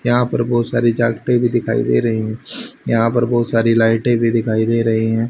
यहां पर बहुत सारी जैकटें भी दिखाई दे रही हैं यहां पर बहुत सारी लाइटें भी दिखाई दे रही हैं।